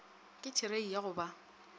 ke therei ya go ba